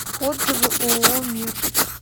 отзывы ооо мир